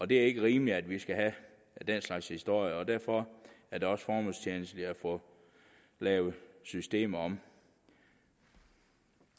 det er ikke rimeligt at vi skal have den slags historier og derfor er det også formålstjenligt at få lavet systemet om